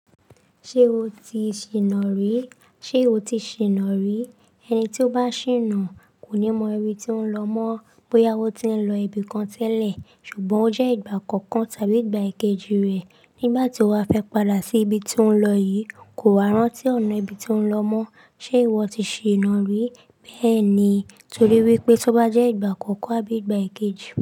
Ṣé o ti ṣìnà rí? Ṣé o ti ṣìnà rí? Ẹni tí ó bá ṣìnà kò ní mọ ibi tí ó ń lọ mọ́ bóyá ó ti ń lọ ibi kan tẹ́lẹ̀ ṣùgbọ́n ó jẹ́ ìgbà àkọ́kọ́ tàbí ìgbà kejì rẹ̀. Nígbà tí ó bá fẹ́ padà sí ibi tí ó ń lọ yìí, kò wa rántí ọ̀nà ibi tí ó ń lọ mọ́. Ṣé ìwọ ti ṣìnà rí? Bẹ́ẹ̀ ni. Torí wípé tó bá jẹ́ ìgbà àkọ́kọ́ àbí ìgbà kejì.